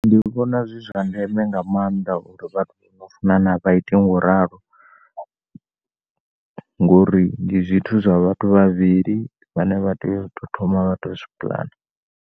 Ndi vhona zwi zwa ndeme nga maanḓa uri vhathu vhano funana vhaite ngauralo ngori ndi zwithu zwa vhathu vhavhili vhane vhato tea uto zwi pulana.